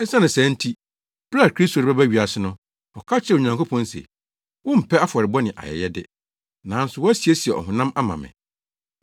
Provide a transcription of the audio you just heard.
Esiane saa nti, bere a Kristo rebɛba wiase no, ɔka kyerɛɛ Onyankopɔn se: “Wompɛ afɔrebɔ ne ayɛyɛde nanso woasiesie ɔhonam ama me.